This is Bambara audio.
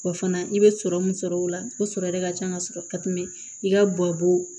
Wa fana i bɛ sɔrɔ min sɔrɔ o la o sɔrɔ de ka ca ka sɔrɔ ka tɛmɛ i ka bɔ